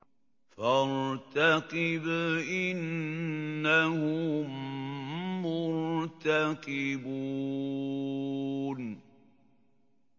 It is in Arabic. فَارْتَقِبْ إِنَّهُم مُّرْتَقِبُونَ